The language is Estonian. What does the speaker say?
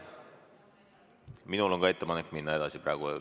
Minul on ka ettepanek minna praegu edasi.